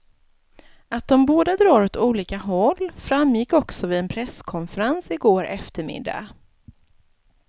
Att de båda drar åt olika håll framgick också vid en presskonferens i går eftermiddag.